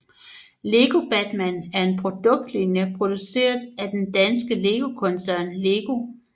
Lego Batman er en produktlinje produceret af den danske legetøjskoncern LEGO